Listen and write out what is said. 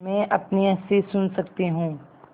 मैं अपनी हँसी सुन सकती हूँ